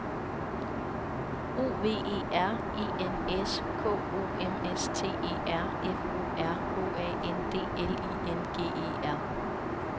O V E R E N S K O M S T E R F O R H A N D L I N G E R